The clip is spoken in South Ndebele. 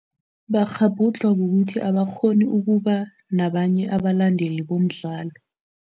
Bakghabhudlha ngokuthi abakghoni ukuba nabanye abalandeli bomdlalo.